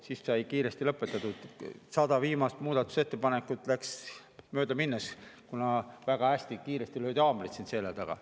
Siis sai kiiresti lõpetatud, 100 viimast muudatusettepanekut läks möödaminnes, kuna hästi kiiresti löödi haamrit siin selja taga.